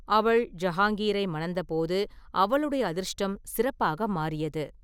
அவள் ஜஹாங்கீரை மணந்தபோது அவளுடைய அதிர்ஷ்டம் சிறப்பாக மாறியது.